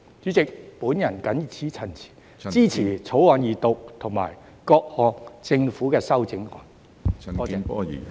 主席，我謹此陳辭，支持《條例草案》二讀和政府的各項修正案。